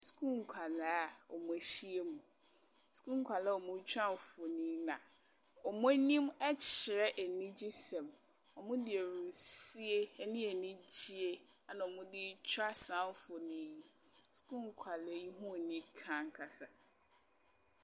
Sukuu nkwadaa a wɔahyia mu. Sukuu nkadaa a wɔretwa mfoni, na wɔn anim kyerɛ anigyɛseɛ. Wɔde ahurisie ne anigyeɛ na wɔde retwa saa mfonin yi. Suluu nkwadaa yi hi yɛ anika ankasa.